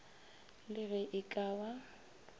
le ge e ka ba